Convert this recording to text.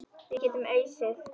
Við getum ausið.